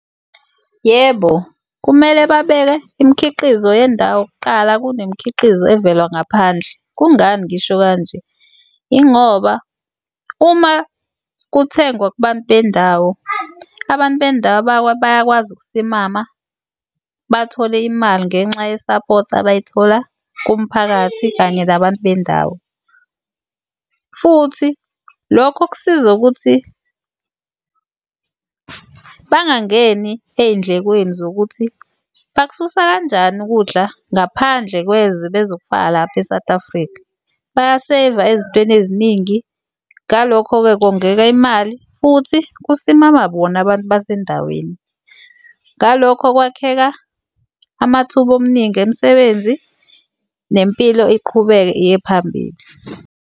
Yebo, kumele babeke imikhiqizo yendawo kuqala kunemkhiqizo evela ngaphandle. Kungani ngisho kanje? Yingoba uma kuthengwa kubantu bendawo, abantu bendawo bayakwazi ukusimama bathole imali ngenxa yesaphothi abayithola kumphakathi kanye nabantu bendawo. Futhi lokho kuzosiza ukuthi bangangeni ey'ndlekweni zokuthi bakususa kanjani ukudla ngaphandle kwezwe bezofaka lapha eSouth Africa. Bayaseyiva ezintweni eziningi. Ngalokho-ke, kongeka imali futhi kusimama bona abantu basendaweni. Ngalokho kwakheka amathuba omningi emisebenzi, nempilo iqhubeke iye phambili.